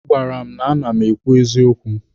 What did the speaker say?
Ọ gwara m na a na-eme ekwu eziokwu.